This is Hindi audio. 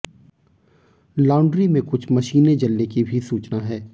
लांडरी में कुछ मशीनें जलने की भी सूचना है